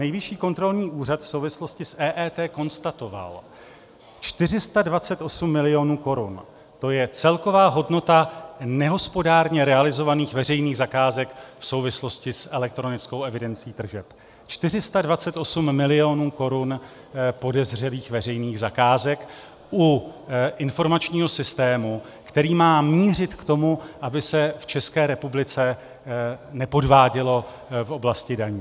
Nejvyšší kontrolní úřad v souvislosti s EET konstatoval: 428 milionů korun, to je celková hodnota nehospodárně realizovaných veřejných zakázek v souvislosti s elektronickou evidencí tržeb - 428 milionů korun podezřelých veřejných zakázek u informačního systému, který má mířit k tomu, aby se v České republice nepodvádělo v oblasti daní.